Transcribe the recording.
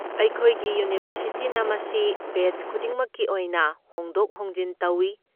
ꯑꯩꯈꯣꯏꯒꯤ ꯌꯨꯅꯤꯚꯔꯁꯤꯇꯤꯅ ꯃꯁꯤ ꯕꯦꯆ ꯈꯨꯗꯤꯡꯃꯛꯀꯤ ꯑꯣꯏꯅ ꯍꯣꯡꯗꯣꯛ ꯍꯣꯡꯖꯤꯟ ꯇꯧꯏ꯫